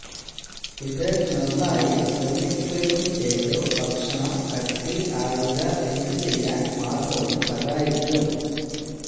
ഇത് നന്നായി നിർമ്മിക്കുകയും ചെയ്തു ഭക്ഷണം കട്ടി ആയുധ എന്തു ചെയ്യാൻ മാര്ഗവും സഹായിക്കും